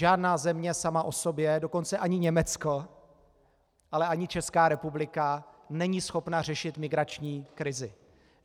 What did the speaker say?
Žádná země sama o sobě, dokonce ani Německo, ale ani Česká republika, není schopna řešit migrační krizi.